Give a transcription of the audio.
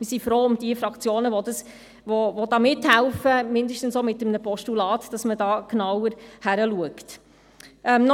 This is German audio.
Wir sind froh um diejenigen Fraktionen, die mithelfen, dass man da jetzt genauer hinschaut, zumindest mit einem Postulat.